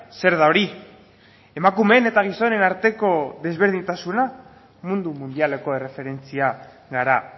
zer da hori emakumeen eta gizonen arteko desberdintasuna mundu mundialeko erreferentzia gara